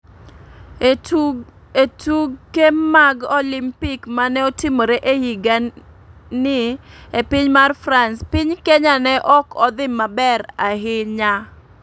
E tuge mag olimpik mane otimore e higa ni e piny mar France ,piny kenya ne ok odhi maber ahinya